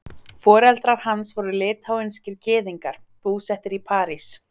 Foreldrar hans voru litháískir gyðingar, búsettir í París.